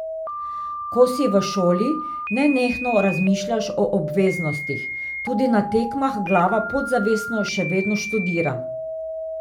Ko si v šoli, nenehno razmišljaš o obveznostih, tudi na tekmah glava podzavestno še vedno študira.